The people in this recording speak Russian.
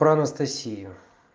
про анастасию